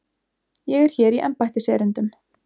Ég er hér í embættiserindum.